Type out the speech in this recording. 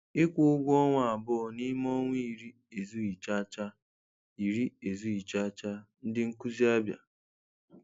Ịkwụ ụgwọ ọnwa abụọ n'ime ọnwa ịrị ezụghi chacha ịrị ezụghi chacha - Ndị nkụzi Abia